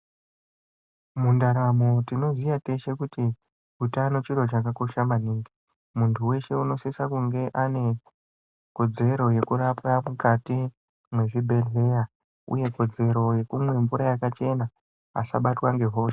Muntaramo tonoziya teshe kuti utano chiro chakakosha maningi muntu weshe anosisa kunge ane kodzero yekurapwa mukati mezvibhedhlera uye kodzero yekumwe mvura yakachena asabatwe nehosha.